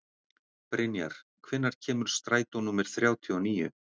Brynjar, hvenær kemur strætó númer þrjátíu og níu?